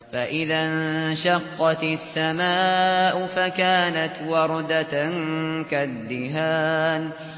فَإِذَا انشَقَّتِ السَّمَاءُ فَكَانَتْ وَرْدَةً كَالدِّهَانِ